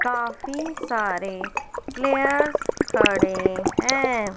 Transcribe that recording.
काफी सारे प्लेयर्स खड़े हैं।